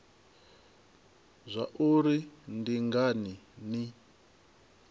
zwa uri ndi ngani ni